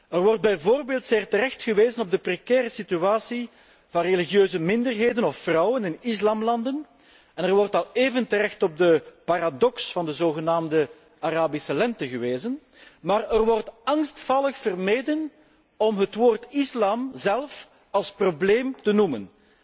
Er wordt bijvoorbeeld zeer terecht gewezen op de precaire situatie van religieuze minderheden of vrouwen in moslimlanden en er wordt al even terecht op de paradox van de zogenaamde Arabische lente gewezen, maar er wordt angstvallig vermeden om het woord islam zelf als probleem te noemen.